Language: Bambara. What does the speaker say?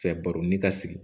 Fɛ baroni ka sigi